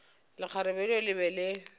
lekgarebe leo le be le